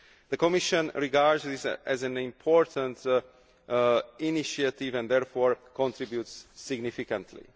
The Commission regards this as an important initiative and therefore contributes significantly.